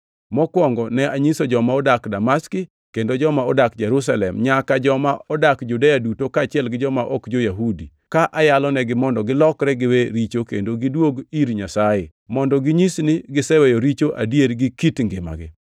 Mokwongo ne anyiso joma nodak Damaski kendo joma odak Jerusalem nyaka joma odak Judea duto kaachiel gi joma ok jo-Yahudi ka ayalonegi mondo gilokre giwe richo kendo gidwog ir Nyasaye, mondo ginyis ni giseweyo richo adier gi kit ngimagi.